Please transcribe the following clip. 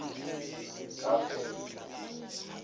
kavela